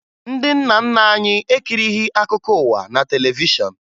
Ndị nna nna anyị ekirighi akụkọ ụwa na televishọn